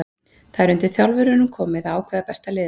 Það er undir þjálfurunum komið að ákveða besta liðið.